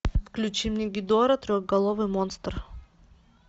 включи мне гидора трехголовый монстр